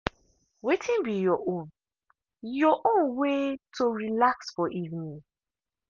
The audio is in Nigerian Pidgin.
wetin be your own your own way to relax for evening?